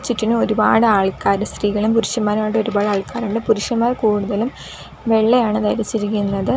ചുറ്റിനും ഒരുപാട് ആൾക്കാര് സ്ത്രീകളും പുരുഷന്മാരുമായിട്ട് ഒരുപാട് ആൾക്കാരുണ്ട് പുരുഷന്മാർ കൂടുതലും വെള്ളയാണ് ധരിച്ചിരിക്കുന്നത്.